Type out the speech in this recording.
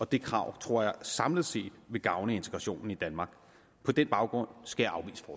det krav tror jeg samlet set vil gavne integrationen i danmark på den baggrund skal